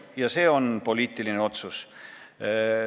Ja see on poliitiline otsus.